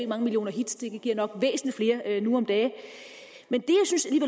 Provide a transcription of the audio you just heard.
mange millioner hits det giver nok væsentlig flere nu om dage